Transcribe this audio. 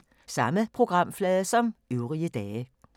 Samme programflade som øvrige dage